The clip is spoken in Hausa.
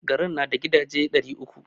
Garin na da gidaje ɗari uku.